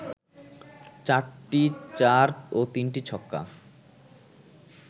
৪টি চার ও ৩টি ছক্কা